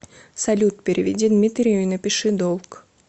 салют переведи дмитрию и напиши долг